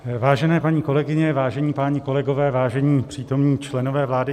Vážené paní kolegyně, vážení páni kolegové, vážení přítomní členové vlády.